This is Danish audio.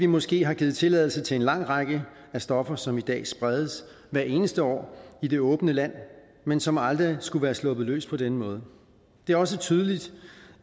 måske har givet tilladelse til en lang række af stoffer som i dag spredes hvert eneste år i det åbne land men som aldrig skulle være sluppet løs på denne måde det er også tydeligt